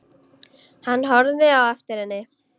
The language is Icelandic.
Hann horfði á eftir henni.